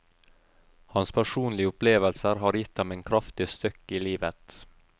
Hans personlige opplevelser har gitt ham en kraftig støkk i livet.